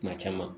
Kuma caman